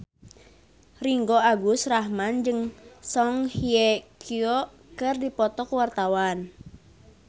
Ringgo Agus Rahman jeung Song Hye Kyo keur dipoto ku wartawan